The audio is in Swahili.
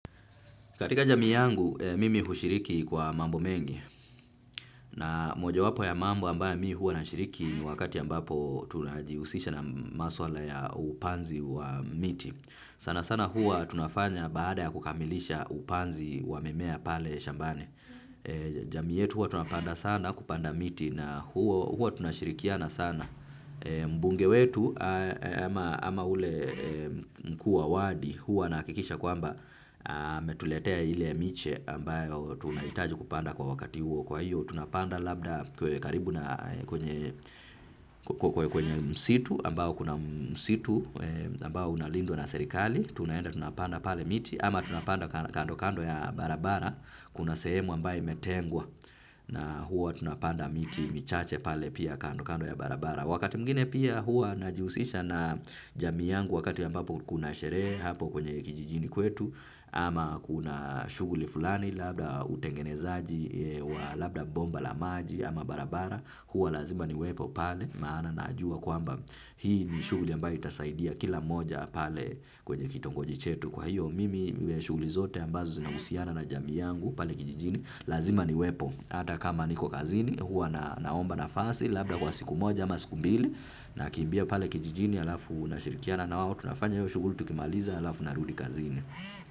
Katika jamii yangu, mimi hushiriki kwa mambo mengi. Na mojawapo ya mambo ambayo mi huwa nashiriki ni wakati ambapo tunajihusisha na maswala ya upanzi wa miti. Sana sana huwa tunafanya baada ya kukamilisha upanzi wa mimea pale shambani. Jamii yetu huwa tunapanda sana kupanda miti na huwa tunashirikiana sana. Mbunge wetu ama ule kuwa wadi huwa anahakikisha kwamba ametuletea ile miche ambayo tunahitaji kupanda kwa wakati huo kwa hiyo tunapanda labda karibu na kwenye kwenye msitu ambao kuna msitu ambao unalindwa na serikali. Tunaenda tunapanda pale miti ama tunapanda kando kando ya barabara, kuna sehemu ambayo imetengwa na huwa tunapanda miti michache pale pia kando kando ya barabara. Wakati mwingine pia hua najihusisha na jamii yangu wakati ambapo kuna sherehe hapo kwenye kijijini kwetu ama kuna shughuli fulani labda utengenezaji wa labda bomba la maji ama barabara. Huwa lazima niwepo pale maana najua kwamba hii ni shughuli ambayo itasaidia kila moja pale kwenye kitongoji chetu. Kwa hiyo mimi iwe shughuli zote ambazo zinahusiana na jamii yangu pale kijijini, lazima niwepo. Hata kama niko kazini huwa naomba nafasi labda kwa siku moja ama siku mbili nakimbia pale kijijini halafu nashirikiana na wao tunafanya hiyo shughuli tukimaliza halafu narudi kazini.